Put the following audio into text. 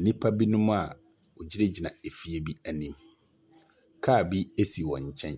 Nnipa binom a wɔgyinagyina efie bi anim. Car bi si wɔn nkyɛn.